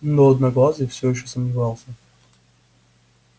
но одноглазый всё ещё сомневался